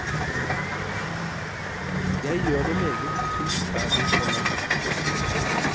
Jeg gjør det meget kunstferdig og nøye.